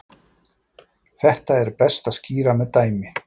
Þetta er best að skýra með dæmi.